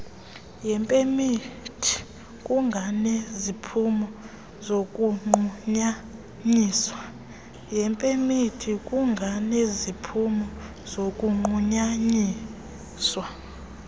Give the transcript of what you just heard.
yepemithi kunganeziphumo zokunqunyanyiswa